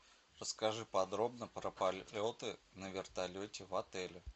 расскажи подробно про полеты на вертолете в отеле